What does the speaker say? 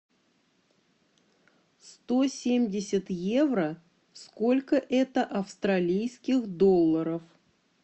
сто семьдесят евро сколько это австралийских долларов